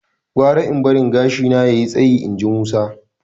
"Gwara in barin gashina ya yi tsayi" inji Musa.